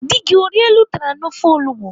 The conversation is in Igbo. Dị gị o riela ụtara na ofe olugbo?